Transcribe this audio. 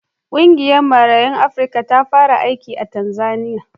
Ƙungiyar Marayun Afrika ta fara aiki a Tanzaniya.